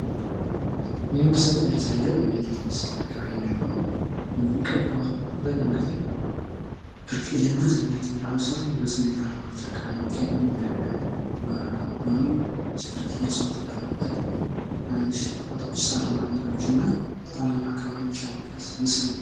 ይህ ምስል የሚያሳየው የዱር እንስሳ አካባቢ የሚኖሩ ደግሞ ቀይ ቀበሮ አብዛኛውን ጊዜ ብርቅዬ እና አስደናቂ የሚባሉ እንስሳት በሰሜን ተራሮች አካባቢ የሚገኝ በጎኑም ብርቅዬ እጽዋት ያለበት ሳርማ ቦታዎች እና ተራራማ ቦታዎች ያሉበት ምስል ነው።